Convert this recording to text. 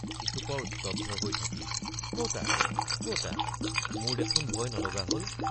কিছুপৰ স্তব্ধ হৈ থাকি কতা কতা মোৰ দেখোন ভয় নলগা হল?